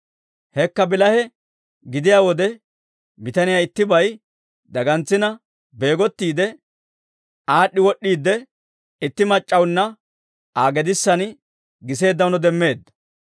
Hekka bilahe gidiyaa wode, bitaniyaa ittibay dagantsina beegottiide, aad'd'i wod'd'iide, itti mac'c'awunna Aa gedissanna giseeddaano demmeedda.